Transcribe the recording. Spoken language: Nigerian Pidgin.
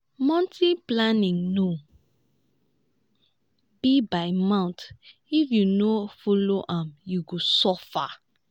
monthly planning no be by mouth if you no follow am you go suffer.